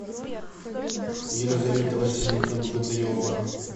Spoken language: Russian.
елизавета васильевна богатырева